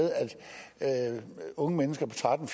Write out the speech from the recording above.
at unge mennesker på tretten